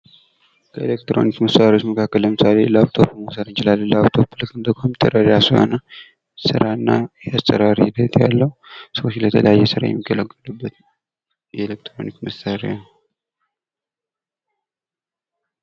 ከኤሌክትሮኒክስ መሳሪዎች መካከል ለምሳሌ ላፕቶፕን መውሰድ እንችላለን ። ላፕቶፕ ልክ እንደ ኮምፒውተር የራሱ የሆነ ስራ እና የአሰራር ሂደት ያለው ሰዎች ለተለያየ ስራ የሚጠቀሙበት የኤሌክትሮኒክስ መሳሪያ ነው ።